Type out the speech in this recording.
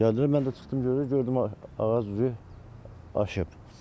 Gəldilər, mən də çıxdım gördüm, gördüm ağac vurur, aşır.